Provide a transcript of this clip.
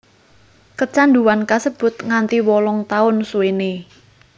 Kecanduan kasebut nganti wolung taun suwené